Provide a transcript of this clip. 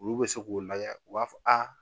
Olu bɛ se k'o lajɛ u b'a fɔ aa